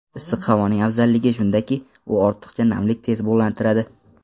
Issiq havoning afzalligi shundaki, u ortiqcha namlikni tez bug‘lantiradi.